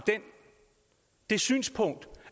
det synspunkt